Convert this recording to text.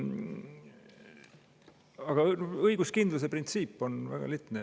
Aga õiguskindluse printsiip on väga lihtne.